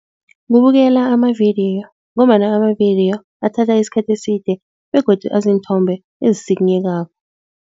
Kubukela amavidiyo ngombana amavidiyo athatha isikhathi eside begodu aziinthombe ezisikinyekako.